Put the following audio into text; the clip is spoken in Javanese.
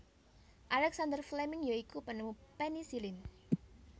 Alexander Fleming ya iku penemu penisilin